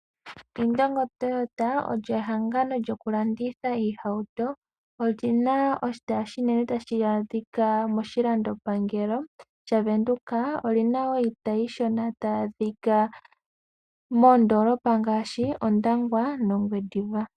Indongo toyota olyo ehangano lyokulanditha iihauto, olina oshitayi oshinene tashi adhika moshilandoa pangelo sha Windhoeka oshina iitayi iishona tayi adhika moondolopa ngashi Ondangwa no Ongwediva.